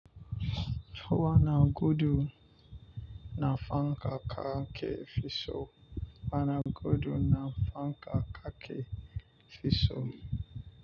Wana gudu na fanka kake fi so wana gudu na fanka kake fiso.